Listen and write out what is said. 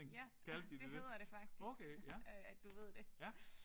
Ja det hedder det faktisk. At du ved det